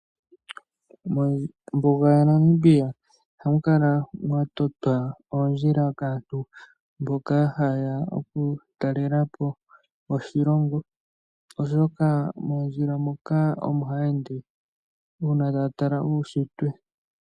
Mombuga yaNamibia ohamu kala mwatotwa oondjila kaantu mboka hayeya okutalelapo oshilongo, oshoka mondjila moka omo haya ende uuna taya tala uunshitwe.